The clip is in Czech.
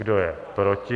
Kdo je proti?